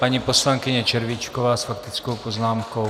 Paní poslankyně Červíčková s faktickou poznámkou.